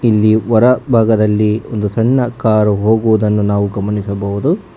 ಇಲ್ಲಿ ಹೋರ ಭಾಗದಲ್ಲಿ ಒಂದು ಸಣ್ಣ ಕಾರ್ ಹೋಗುವುದನ್ನು ನಾವು ಗಮನಿಸಬಹುದು.